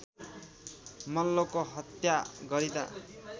मल्लको हत्या गरिँदा